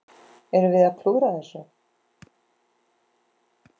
Erum við að klúðra þessu?